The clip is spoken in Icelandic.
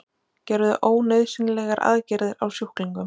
Gerðu ónauðsynlegar aðgerðir á sjúklingum